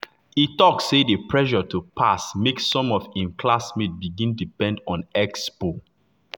e talk say the pressure to pass make some of im classmates begin depend on expo.